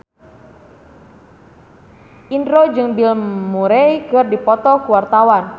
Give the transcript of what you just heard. Indro jeung Bill Murray keur dipoto ku wartawan